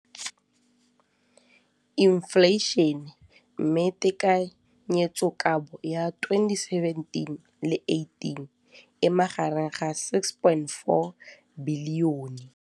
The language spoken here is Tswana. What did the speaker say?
Infleišene, mme tekanyetsokabo ya 2017, 18, e magareng ga R6.4 bilione.